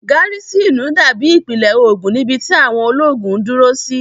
Gárísìnù dábí ìpìlẹ̀ ológun níbi tí àwọn ológun ń dúró sí